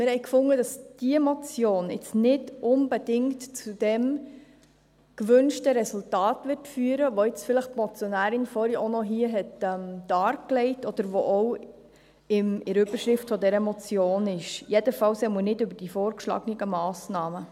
Wir waren der Meinung, diese Motion werde jetzt nicht unbedingt zu dem gewünschten Resultat führen, das die Motionärin jetzt vielleicht auch noch dargelegt hat oder das auch in der Überschrift dieser Motion ist, jedenfalls nicht über die vorgeschlagenen Massnahmen.